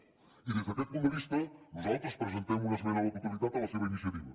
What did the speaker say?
i des d’aquest punt de vista nosaltres presentem una esmena a la totalitat a la seva iniciativa